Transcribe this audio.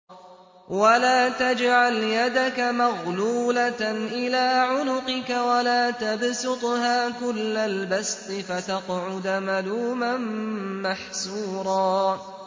وَلَا تَجْعَلْ يَدَكَ مَغْلُولَةً إِلَىٰ عُنُقِكَ وَلَا تَبْسُطْهَا كُلَّ الْبَسْطِ فَتَقْعُدَ مَلُومًا مَّحْسُورًا